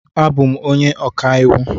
Abụ m onye ọka iwu.